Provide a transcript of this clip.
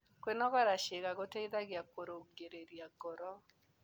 Kwĩnogora ciĩga gũteĩthagĩa kũrũngĩrĩrĩa ngoro